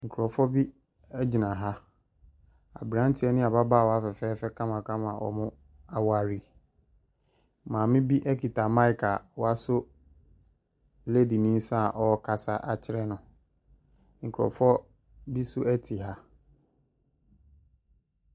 Nkorɔfoɔ bi ɛgyina ha, aberanteɛ ne ababaawa fɛfɛɛfɛ kama kama a ɔmo aware, maame bi ɛkita maek a wasɔ ledi ne nsa a ɔɔkasa akyerɛ no. Nkorɔfoɔ bi so ɛte ha.